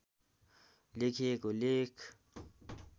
लेखिएको लेख